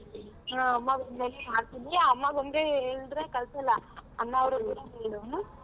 ಹಾ ಅಮ್ಮ ಬಂದ್ಮೇಲೆ ಮಾಡ್ತೀನಿ ಅಮ್ಮ ಬಂದರೆ ಹೇಳುದರೆ ಕಳ್ಸಲ್ಲ ಅಣ್ಣ ಹೇಳು.